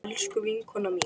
Elsku vinkona mín.